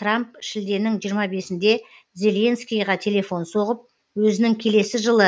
трамп шілденің жиырма бесінде зеленскийге телефон соғып өзінің келесі жылы